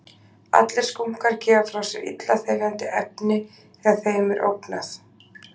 Allir skunkar gefa frá sér illa þefjandi efni þegar þeim er ógnað.